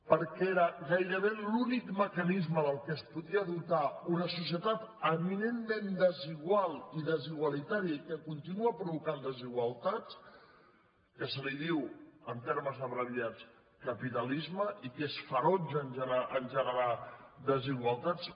perquè era gairebé l’únic mecanisme del qual es podia dotar una societat eminentment desigual i desigualitària i que continua provocant desigualtats que se’n diu en termes abreviats capitalisme i que és ferotge a generar desigualtats